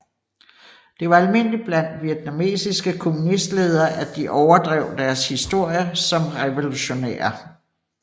Det var almindeligt blandt vietnamesiske kommunistledere at de overdrev deres historie som revolutionære